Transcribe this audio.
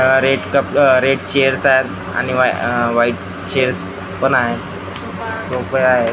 अह red cup uh red chairs आहेत आणि अह व्हाईट चेअर्स पण आहेत सोफे आहेत.